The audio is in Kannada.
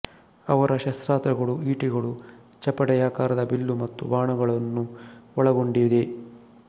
ಅವರ ಶಸ್ತ್ರಾಸ್ತ್ರಗಳು ಈಟಿಗಳು ಚಪಟೆಯಾಕರದ ಬೀಲ್ಲು ಮತ್ತು ಬಾಣಗಳನ್ನು ಒಳಗೊಂಡಿದೆ